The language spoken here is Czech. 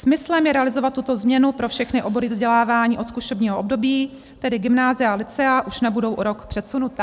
Smyslem je realizovat tuto změnu pro všechny obory vzdělání od zkušebního období, tedy gymnázia a lycea už nebudou o rok předsunuta."